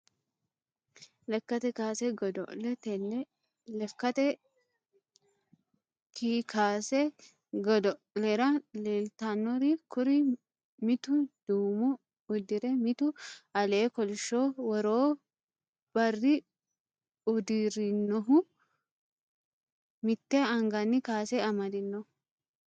Lekate kaase godo`le tene lekate kkaase godo`lera leeltanori kuri mittu duume udire mittu alee kolisho woroo barri udirinohu mite angani kaase amadino.